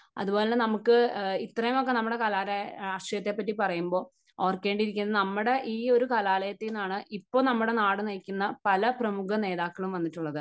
അതുപോലെ തന്നെ നമുക്ക് ഇത്രയുമൊക്കെ നമ്മുടെ കലാലയ രാഷ്ട്രീയത്തെ പറ്റി പറയുമ്പോൾ ഓർക്കേണ്ടി ഇരിക്കുന്നു നമ്മുടെ ഈ ഒരു കലാലയത്തിൽ നിന്നാണ് ഇപ്പോൾ നമ്മുടെ നാട് നയിക്കുന്ന പല പ്രമുഖ നേതാക്കളും വന്നിട്ടുള്ളത്.